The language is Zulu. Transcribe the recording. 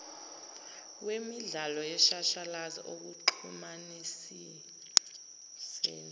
wemidlalo yeshashalazi ekuxhumaniseni